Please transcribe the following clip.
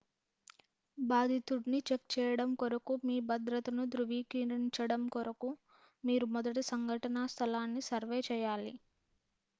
బాధితుడిని check చేయడం కొరకు మీ భద్రతను ధృవీకరించడం కొరకు మీరు మొదట సంఘటనా స్థలాన్ని సర్వే చేయాలి